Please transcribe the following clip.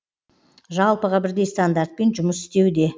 жалпыға бірдей стандартпен жұмыс істеуде